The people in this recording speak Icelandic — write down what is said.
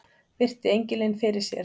Virti engilinn fyrir sér.